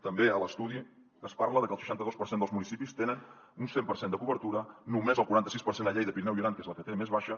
també a l’estudi es parla de que el seixanta dos per cent dels municipis tenen un cent per cent de cobertura només el quaranta sis per cent a lleida pirineu i aran que és la que té més baixa